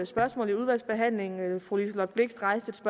spørgsmål i udvalgsbehandlingen fru liselott blixt rejste